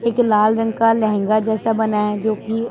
एक लाल रंग का लहंगा जैसा बना है जो की--